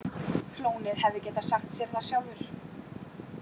Flónið hefði getað sagt sér það sjálfur.